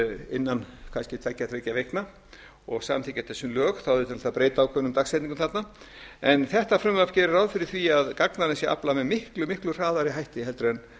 innan kannski tveggja þriggja vikna og samþykkja þetta sem lög þá þyrfti náttúrlega að breyta ákveðnum dagsetningum þarna en þetta frumvarp gerir ráð fyrir því að gagnanna sé aflað með miklu miklu hraðari hætti en